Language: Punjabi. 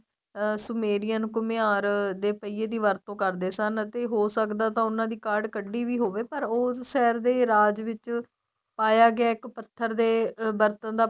ਅਹ ਸੁਮੇਰੀਅਨ ਘੁੱਮਿਆਰ ਦੇ ਪਈਏ ਦੀ ਵਰਤੋ ਕਰਦੇ ਸਨ ਅਤੇ ਹੋ ਸਕਦਾ ਤਾਂ ਉਹਨਾ ਦੀ ਕਾਡ ਕੱਢੀ ਵੀ ਹੋਵੇ ਪਰ ਉਸ side ਰਾਜ ਵਿੱਚ ਪਾਇਆ ਗਿਆ ਇੱਕ ਪੱਥਰ ਦੇ ਬਰਤਨ ਦਾ